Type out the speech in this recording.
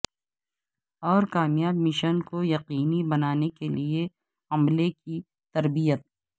اور کامیاب مشن کو یقینی بنانے کے لئے عملے کی تربیت